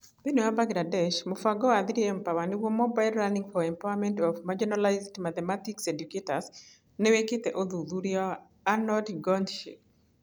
Thĩinĩ wa Bangladesh, mũbango wa 3Mpower (Mobile Learning for Empowerment of Marginalised Mathematics Educators) nĩ wĩkĩte ũthuthuria Anonde Gonit Shikhi